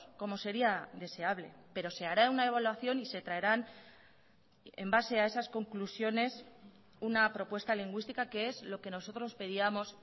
como sería deseable pero se hará una evaluación y se traerán en base a esas conclusiones una propuesta lingüística que es lo que nosotros pedíamos